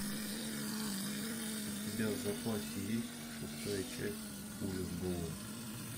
у тебя в запасе есть шестая часть пуля в голову